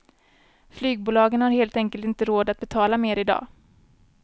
Flygbolagen har helt enkelt inte råd att betala mer i dag.